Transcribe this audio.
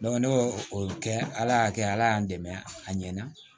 ne b'o o kɛ ala y'a kɛ ala y'an dɛmɛ a ɲɛna